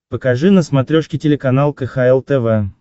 покажи на смотрешке телеканал кхл тв